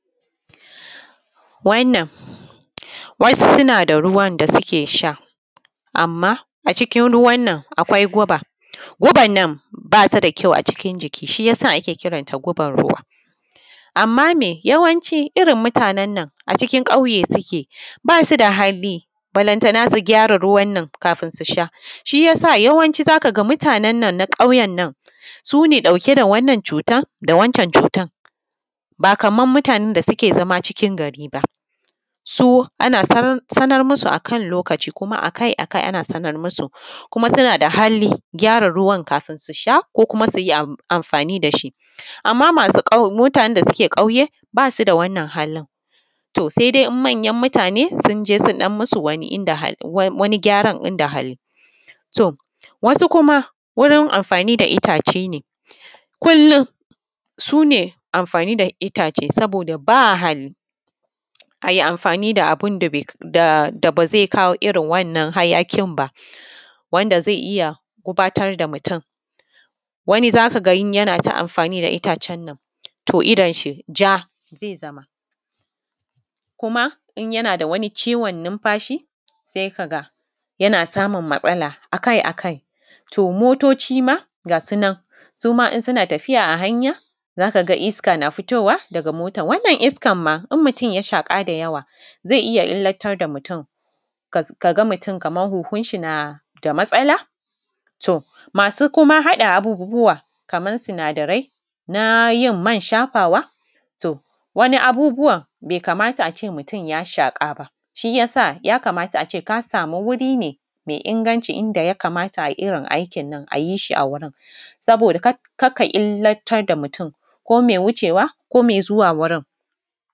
Wannan wasu suna da ruwan da suke sha, amma a cikin ruwan nan akwai guba guban nan ba su da kyau a ciki, shi ya sa ake kiranta guban ruwa. Amma me yawanci irin mutanen nan a cikin ƙauye suke ba su da hali balantana su gyara ruwan nan kafun su sha shi ya sa yawanci za ka ga mutanen nan na ƙauyen nan su ne ɗauke da wannan cutan da wancan cutan ba kaman mutanen da suke zama cikin gari ba. So ana sanar musu akan lokaci kuma akai-akai ana sanar musu kuma suna da hali gyara ruwan kafun su sha ko kuma su yi amfani da shi, amma masu mutanen da suke ƙauye ba su da wannan halin to se dai in manyan mutane sun je sun yi musu wani gyaran. In da hali to wasu kuma wurin amfani da itace ne kullum su ne amfani da itace saboda babu hali a yi amfani da ba ze kawo irin wannan hayaƙin ba, wanda ze iya fatar da mutum wani za ka ga in yanayin amfani da itacen nan to idon shi ja ze zama kuma in yana da wani numfashi se ka ga yana samun matsala akai-akai, to motoci ma ga su nan in suna tafiya a hanya za ka ga iska na fitowa a hanya daga hanya wannan iskan ma in mutum ya shaƙa da yawa ze iya illatar da mutum ka ga mutum kaman hunhun shi na da matsala. To, masu kuma haɗa abubbuwa kaman sinadarai na yin man shafawa to wani abubuwan be kamata a ce mutum ya shaƙa ba shi yasa ya kamata a ce ka samu wuri me inganci, in da ya kamata a irin aikin nan a yi shi, a wurin saboda kar ka illatar da mutum ko me wuce wa ko me zuwa wurin.